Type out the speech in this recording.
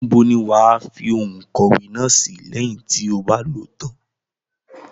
Níbo ni wàá fi ohun ìkọ̀wẹ́ náà sìí, lẹ́yìn tí o bá lòó tán?